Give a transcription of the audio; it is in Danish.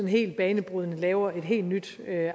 helt banebrydende laver et helt nyt